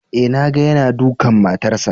Eh na ga yana dukan matarsa